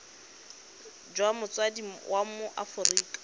jwa motsadi wa mo aforika